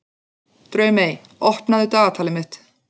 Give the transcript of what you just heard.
Draumey, opnaðu dagatalið mitt.